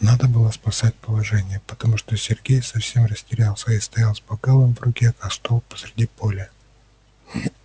надо было спасать положение потому что сергей совсем растерялся и стоял с бокалом в руке как столб посреди поля